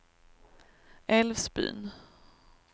Älvsbyn